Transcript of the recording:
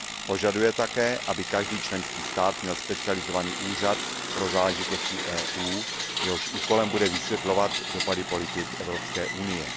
Požaduje také, aby každý členský stát měl specializovaný úřad pro záležitosti EU, jehož úkolem bude vysvětlovat dopady politik Evropské unie.